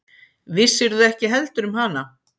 Vissirðu ekki heldur um hana?